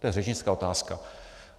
To je řečnická otázka.